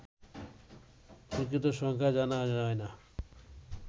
প্রকৃত সংখ্যা জানা যায় না